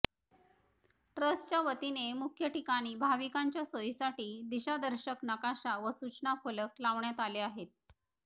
ट्रस्टच्या वतीने मुख्य ठिकाणी भाविकांच्या सोयीसाठी दिशादर्शक नकाशा व सूचना फलक लावण्यात आले आहेत